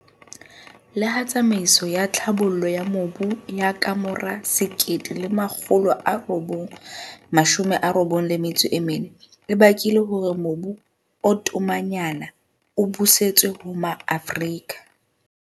Le ha tsamaiso ya tlhabollo ya mobu ya kamora 1994, e bakile hore mobu o tomanyana o busetswe ho Maafrika.